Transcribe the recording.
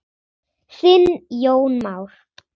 Þinn Jón Már.